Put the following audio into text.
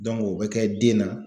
o bɛ kɛ den na.